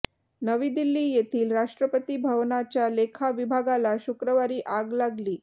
नवी दिल्ली येथील राष्ट्रपती भवनाच्या लेखा विभागाला शुक्रवारी आग लागली